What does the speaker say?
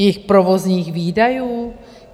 Jejich provozních výdajů?